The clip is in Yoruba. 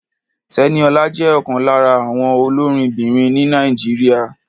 Tẹ́níọlá jẹ́ ọ̀kan lára àwọn olórinbìnrin ní Nàìjíríà.